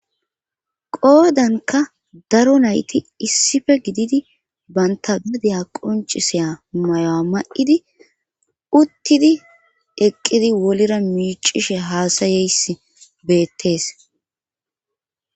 Qoodanka daro nayti issife gididi banta gadeya qoncisiya mayoa ma7idi uttidi eqqidi wolira miicishe haasayeyss beettees.